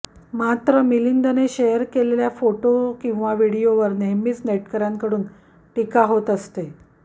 मात्र मिलिंदने शेअर केलेल्या फोटो किंवा व्हिडियोवर नेहमीच नेटकऱ्यांकडून टीका होत असते